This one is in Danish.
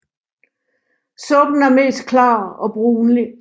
Suppen er mest klar og brunlig